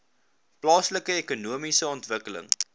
plaaslike ekonomiese ontwikkeling